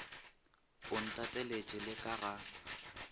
o ntateletše le ka ga